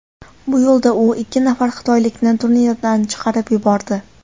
Bu yo‘lda u ikki nafar xitoylikni turnirdan chiqarib yubordi.